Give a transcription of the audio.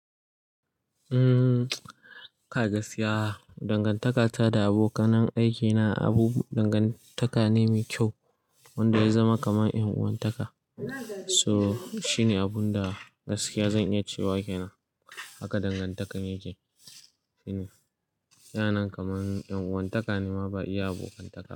Umm kai gaskiya dangantaka ta da abokanan aiki na abu dangantaka ne mai kyau wanda ya zama kamar ƴan uwantaka. So shine abun da gaskiya zan iya cewa kenan haka dangantakan yake. Shi ne yanayin kamar ƴan uwantaka ne ma ba iya abokantaka.